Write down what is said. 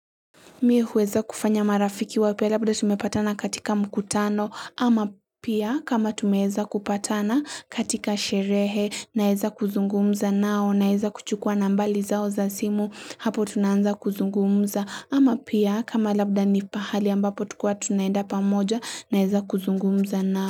Mie huweza kufanya marafiki wapya labda tumepatana katika mkutano ama pia kama tumeeza kupatana katika sherehe naeza kuzungumza nao, naeza kuchukua nambari zao za simu hapo tunaanza kuzungumza ama pia kama labda ni pahali ambapo tukua tunaenda pamoja naeza kuzungumza nao.